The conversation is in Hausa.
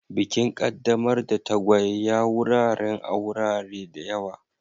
Bikin qaddamar da tagwaye ya wuraren a wurare da yawa.